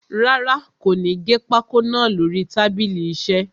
Rárá, kò ní gé pákó naa lórí tábìlì iṣẹ́.